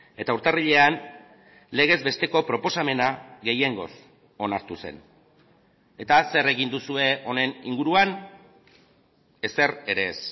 eta urtarrilean legez besteko proposamena gehiengoz onartu zen eta zer egin duzue honen inguruan ezer ere ez